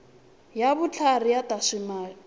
ya vutlhari ya swa timali